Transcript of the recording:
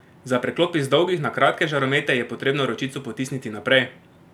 Za preklop iz dolgih na kratke žaromete je potrebno ročico potisniti naprej!